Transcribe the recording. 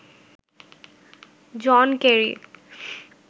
John Kerry